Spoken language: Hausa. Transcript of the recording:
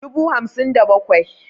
dubu hamsin da bakwai